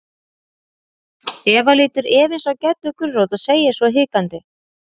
Eva lítur efins á Geddu gulrót og segir svo hikandi.